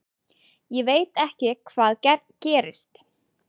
Ég veit ekki hvað gerist.